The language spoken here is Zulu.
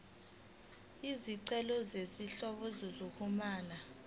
izincazelo zezinhlobo zokuxhumana